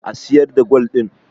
a siyar da gwal din!